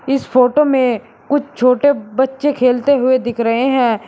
इस फोटो में कुछ छोटे बच्चे खेलते हुए दिख रहे हैं।